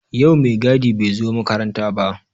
Yau mai gadi bai zo makaranta ba